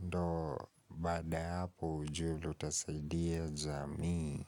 ndo baada hapo ujue ndo utasaidia jamiu.